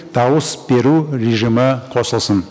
дауыс беру режимі қосылсын